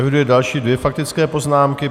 Eviduji další dvě faktické poznámky.